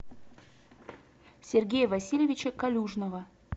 сергея васильевича калюжного